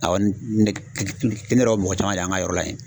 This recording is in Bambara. Awɔ ne yɛrɛ ye o mɔgɔ caman de y'an ka yɔrɔ la yen.